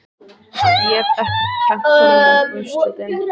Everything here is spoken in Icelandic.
Ég get ekki kennt honum um úrslitin.